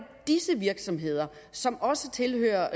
disse virksomheder som også tilhører